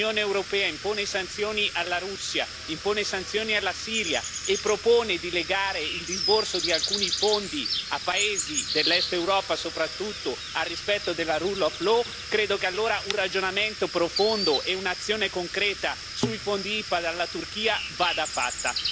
Se l'Unione europea impone sanzioni alla Russia, impone sanzioni alla Siria e propone di legare il disborso di alcuni fondi a paesi dell'Europa dell'Est soprattutto al rispetto della rule of law credo che allora un ragionamento profondo e un'azione concreta sui fondi IPA alla Turchia vada fatta.